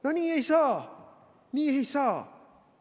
No nii ei saa, nii ei saa!